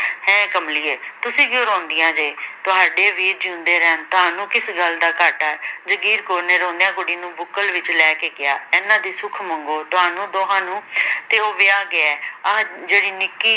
ਹੈ ਕਮਲੀਏ ਤੁਸੀਂ ਕਿਉਂ ਰੋਂਦਿਆਂ ਜੇ ਤੁਹਾਡੇ ਵੀਰ ਜਿਓੰਦੇ ਰਹਿਣ ਤੁਹਾਨੂੰ ਕਿਸ ਗੱਲ ਦਾ ਘਾਟਾ, ਜਗੀਰ ਕੌਰ ਨੇ ਰੋਂਦਿਆਂ ਕੁੜੀ ਨੂੰ ਬੁੱਕਲ ਵਿਚ ਲੈ ਕੇ ਕਿਹਾ ਇਹਨਾਂ ਦੀ ਸੁਖ ਮੰਗੋ ਤੁਹਾਨੂੰ ਦੋਹਾਂ ਨੂੰ ਤੇ ਉਹ ਵਿਆਹ ਗਿਆ ਏ ਆਹ ਜਿਹੜੀ ਨਿੱਕੀ